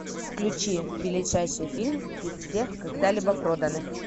включи величайший фильм из всех когда либо проданных